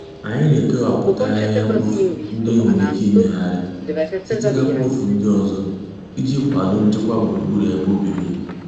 Anyị na-ekewapụta ahịhịa mkpofu ndị e nwere ike imegharị site na mkpofu ndị ọzọ iji kwado nchekwa gburugburu ebe obibi